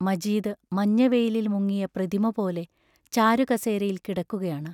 മജീദ് മഞ്ഞവെയിലിൽ മുങ്ങിയ പ്രതിമപോലെ ചാരുകസേരയിൽ കിടക്കുകയാണ്.